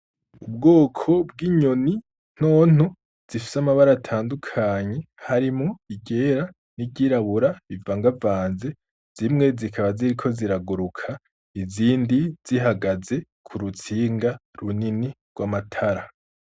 Ubwoko bw'inyoni nto nto zifise amabara atandukanye harimwo iryera, n'iry'irabura bivangavanze, zimwe zikaba ziriko ziraguruka, izindi zihagaze ku rutsinga runini rw'amatara.